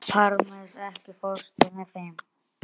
Parmes, ekki fórstu með þeim?